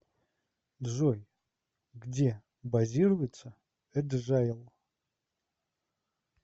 джой где базируется эджайл